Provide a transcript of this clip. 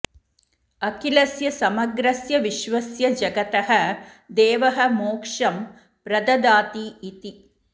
अखिलस्य समग्रस्य विश्वस्य जगतः देवः मोक्षं प्रददाति इति